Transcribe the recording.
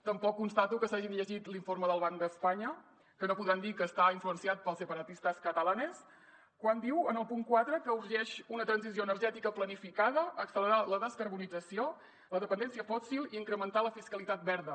tampoc constato que s’hagin llegit l’informe del banc d’espanya que no podran dir que està influenciat pels separatistas catalanes quan diu en el punt quatre que urgeix una transició energètica planificada accelerar la descarbonització la dependència fòssil i incrementar la fiscalitat verda